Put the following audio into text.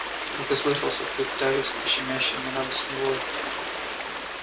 только слышался тут тягостный щемящий и нерадостный вой